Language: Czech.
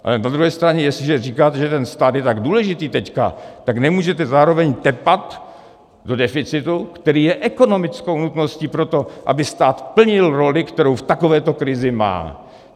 Ale na druhé straně jestliže říkáte, že ten stát je tak důležitý teď, tak nemůžete zároveň tepat do deficitu, který je ekonomickou nutností pro to, aby stát plnil roli, kterou v takovéto krizi má.